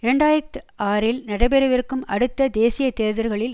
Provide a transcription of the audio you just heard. இரண்டு ஆயிரத்தி ஆறில் நடைபெறவிருக்கும் அடுத்த தேசிய தேர்தல்களில்